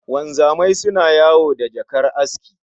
Wanzamai suna yawo da jakar aski